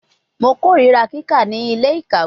Mo korira kika ni ile-ikawe